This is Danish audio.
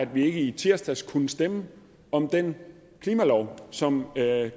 vi ikke i tirsdags kunne stemme om den klimalov som